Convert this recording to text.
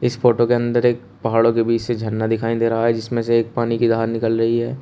इस फोटो के अंदर एक पहाड़ों के बीच से झरना दिखाई दे रहा है जिसमें से एक पानी की धार निकल रही है।